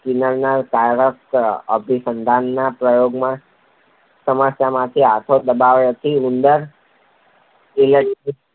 સ્કિનરના કારક અભિસંધાનના પ્રયોગમાં સમસ્યાપેટીમાં હાથો દબાવવાથી ઉંદર ઈલેક્ટ્રીક